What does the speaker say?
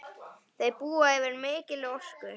Þau búa yfir mikilli orku.